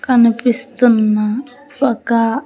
కనిపిస్తున్న ఒకా--